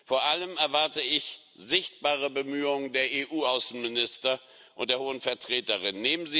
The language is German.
Vor allem erwarte ich sichtbare Bemühungen der EU Außenminister und der Hohen Vertreterin.